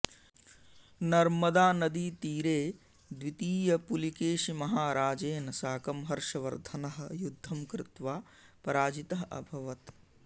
नर्मदानदीतीरे द्वितीयपुलिकेशिमहाराजेन साकं हर्षवर्धनः युद्धं कृत्वा पराजितः अभवत्